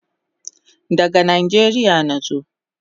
Daga Nijeria nazo